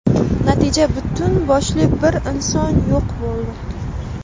Natija butun boshli bir inson yo‘q bo‘ldi.